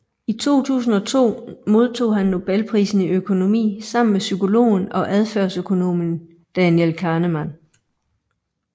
I 2002 modtog han Nobelprisen i økonomi sammen med psykologen og adfærdsøkonomen Daniel Kahneman